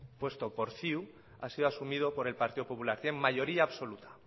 puesto por ciu ha sido asumida por el partido popular tienen mayoría absoluta